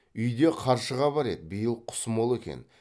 үйде қаршыға бар еді биыл құс мол екен